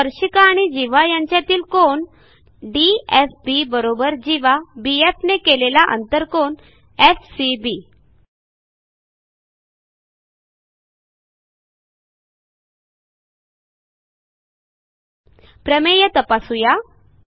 स्पर्शिका आणि जीवा यांच्यातील कोन DFB जीवा BFने केलेला आंतरकोन एफसीबी प्रमेय तपासू या